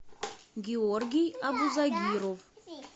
георгий абузагиров